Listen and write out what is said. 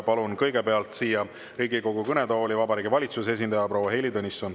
Palun kõigepealt siia Riigikogu kõnetooli Vabariigi Valitsuse esindaja proua Heili Tõnissoni.